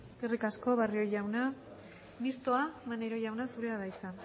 eskerrik asko barrio jauna mistoa maneiro jauna zurea da hitza